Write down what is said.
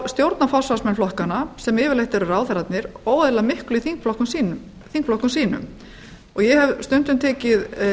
stjórna forsvarsmenn flokkanna sem yfirleitt eru ráðherrarnir óeðlilega miklu í þingflokkum sínum ég hef stundum tekið